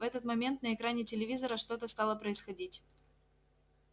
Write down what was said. в этот момент на экране телевизора что-то стало происходить